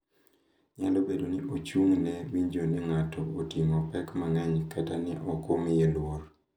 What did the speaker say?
Nyalo bedo ni ochung’ne winjo ni ng’ato oting’o pek mang’eny kata ni ok omiye luor.